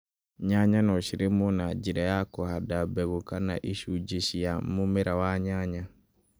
Nyanya no cirĩmwo na njĩra ya kũhanda mbegũ kana icunjĩ cia mũmera wa nyanya